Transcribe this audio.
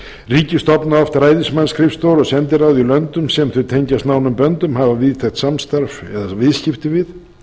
ríki stofna oft ræðismannsskrifstofur og sendiráð í löndum sem þau tengjast nánum böndum hafa víðtækt samstarf eða viðskipti við